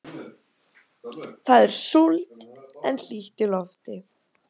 Það er súld en hlýtt í lofti.